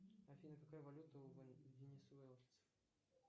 афина какая валюта у венесуэльцев